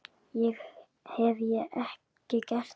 Hef ég ekki gert það?